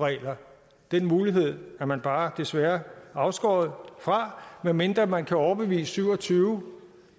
regler den mulighed er man bare desværre afskåret fra medmindre man kan overbevise syv og tyve